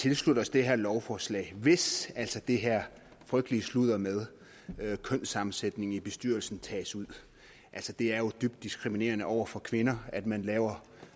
tilslutte os det her lovforslag hvis altså det her frygtelige sludder med kønssammensætning af bestyrelsen tages ud altså det er jo dybt diskriminerende over for kvinder at man laver